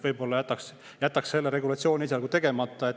Võib-olla jätaks selle regulatsiooni esialgu tegemata.